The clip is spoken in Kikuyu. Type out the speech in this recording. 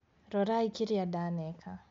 Rorai kĩrĩa ndaneka